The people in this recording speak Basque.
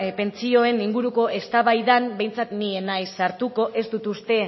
pentsioen inguruko eztabaidan behintzat ni ez naiz sartuko ez dut uste